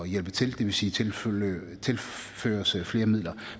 hjælpe til det vil sige tilføres tilføres flere midler